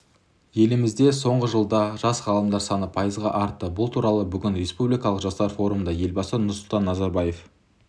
еліміздесоңғы жылда жас ғалымдар саны пайызға артты бұл туралы бүгін республикалық жастар форумында елбасы нұрсұлтан назарбаев